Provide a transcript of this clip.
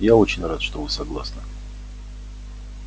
я очень рад что вы согласны